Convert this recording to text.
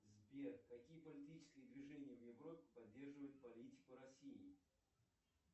сбер какие политические движения в европе поддерживают политику россии